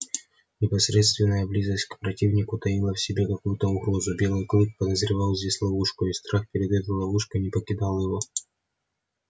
непосредственная близость к противнику таила в себе какую то угрозу белый клык подозревал здесь ловушку и страх перед этой ловушкой не покидал его